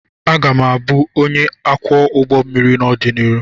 Aga m abụ ónyé ọkwọ ụgbọ mmiri n'odonihu.